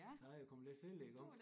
Der er jeg kommet lidt tidligt i gang